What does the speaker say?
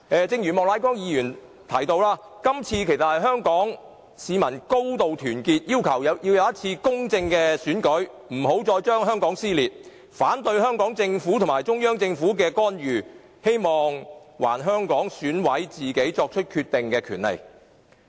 正如莫乃光議員提到，香港市民今次高度團結，要求進行公正的選舉，不要再令香港撕裂；香港市民反對香港政府和中央政府進行干預，並希望還香港選委自行作出決定的權利。